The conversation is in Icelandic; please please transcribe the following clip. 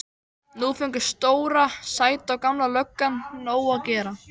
Nú fengu Stóra, Sæta og Gamla löggan nóg að gera.